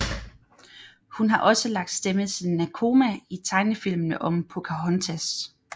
Hun har også lagt stemme til Nakoma i tegnefilmene om Pocahontas